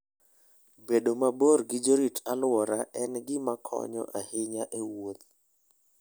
Bedo mabor gi jorit-alwora en gima konyo ahinya e wuoth.